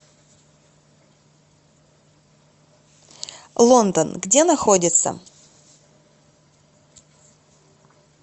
лондон где находится